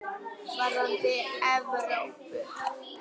Varðandi Evrópu?